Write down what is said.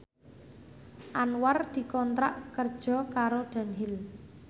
Anwar dikontrak kerja karo Dunhill